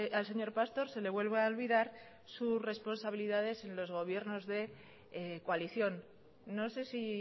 al señor pastor se le vuelve a olvidar sus responsabilidades en los gobiernos de coalición no sé si